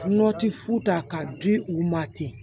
fu ta k'a di u ma ten